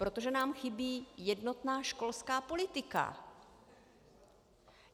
Protože nám chybí jednotná školská politika.